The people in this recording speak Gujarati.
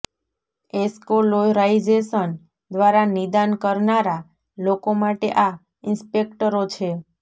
એસ્કોલોરાઇઝેશન દ્વારા નિદાન કરનારા લોકો માટે આ ઇસ્પેકટરો છે